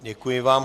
Děkuji vám.